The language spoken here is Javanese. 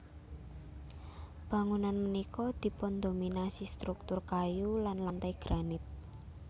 Bangunan punika dipundominasi struktur kayu lan lantai granit